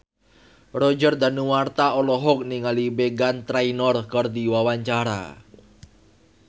Roger Danuarta olohok ningali Meghan Trainor keur diwawancara